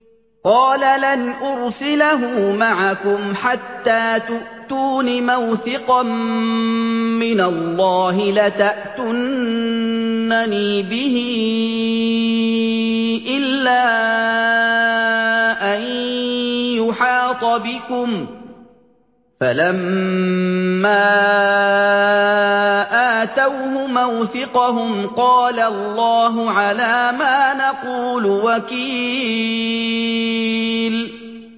قَالَ لَنْ أُرْسِلَهُ مَعَكُمْ حَتَّىٰ تُؤْتُونِ مَوْثِقًا مِّنَ اللَّهِ لَتَأْتُنَّنِي بِهِ إِلَّا أَن يُحَاطَ بِكُمْ ۖ فَلَمَّا آتَوْهُ مَوْثِقَهُمْ قَالَ اللَّهُ عَلَىٰ مَا نَقُولُ وَكِيلٌ